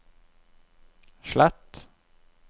slett